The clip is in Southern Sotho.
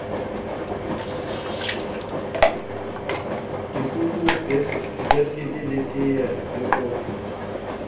dikuku dibiskiti teye le kofi